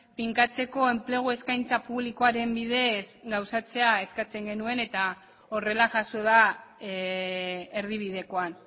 finkatzeko enplegu eskaintza publikoaren bidez gauzatzea eskatzen genuen eta horrela jaso da erdibidekoan